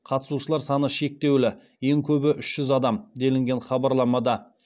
қатысушылар саны шектеулі ең көбі үш жүз адам делінген хабарламада